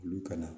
Olu ka na